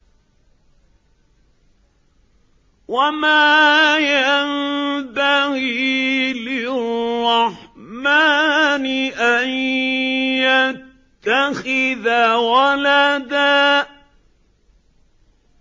وَمَا يَنبَغِي لِلرَّحْمَٰنِ أَن يَتَّخِذَ وَلَدًا